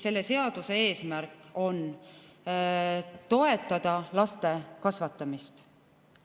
Selle seaduse eesmärk on toetada laste kasvatamist.